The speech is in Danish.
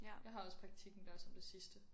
Jeg har også praktikken der som det sidste